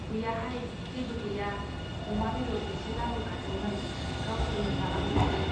गैयाहाय , जेबो गैया, अमा बेद'र एसे लाबोफादोंमोन गावसोरनो जालांजोबदों।